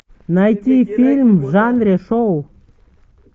найти фильм в жанре шоу